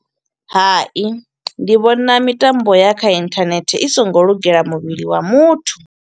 Hai, ndi vhona mitambo ya kha inthanethe i so ngo lugela muvhili wa muthu.